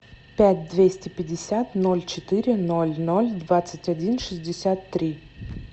пять двести пятьдесят ноль четыре ноль ноль двадцать один шестьдесят три